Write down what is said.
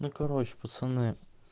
ну короче пацаны